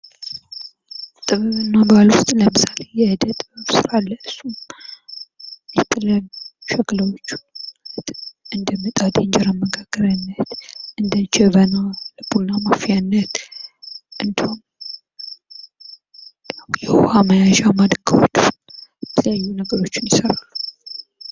ጥበብ እና ባህል ውስጥ ለምሳሌ የጥጥ ስራ አለ ። እሱም የተለያዩ ሸክላዎችን እንደ ምጣድ የእንጀራ መጋገሪያዎችን ፣ እንደጀበና ቡና ማፌያነት እንዲሁም የውሃ መያዣ ማዲንጋዎችን የተለያዩ ነገሮችን ይሰራሉ ።